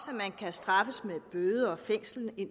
at man kan straffes med bøde og fængsel i